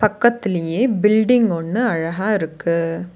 பக்கத்திலியே building ஒன்னு அழகா இருக்கு.